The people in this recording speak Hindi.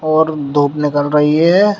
और धूप निकल रही है।